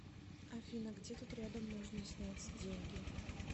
афина где тут рядом можно снять деньги